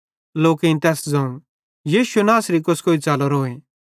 लोकेईं तैस ज़ोवं यीशु नासरी कोस्कोई च़लरोए